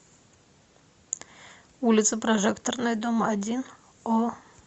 улица прожекторная дом один о